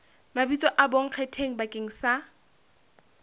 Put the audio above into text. mabitso a bonkgetheng bakeng sa